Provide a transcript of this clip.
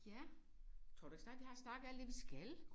Ja. Tror du ikke snart vi har snakket alt det vi skal